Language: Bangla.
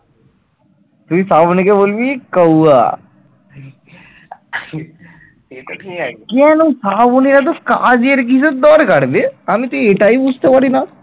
কেন শ্রাবণী এত কাজের কিসের দরকার বে আমি তো এটাই বুঝতে পারি না